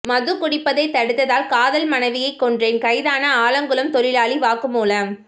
மது குடிப்பதை தடுத்ததால் காதல் மனைவியை கொன்றேன் கைதான ஆலங்குளம் தொழிலாளி வாக்குமூலம்